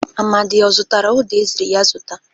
Amadị ọ zụtara ụda e ziri ya zụta?